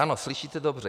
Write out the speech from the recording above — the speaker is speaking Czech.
Ano, slyšíte dobře.